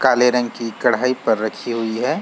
काले रंग की कढ़ाई पर रखी हुई है।